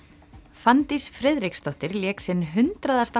Fanndís Friðriksdóttir lék sinn hundraðasta